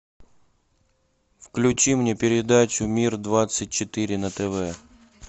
включи мне передачу мир двадцать четыре на тв